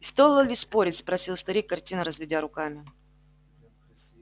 и стоило ли спорить спросил старик картинно разведя руками